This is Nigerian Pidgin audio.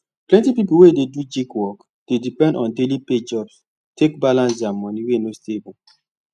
plenty people wey dey do gig work dey depend on daily pay jobs take balance their money wey no stable